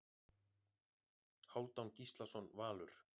Hálfdán Gíslason Valur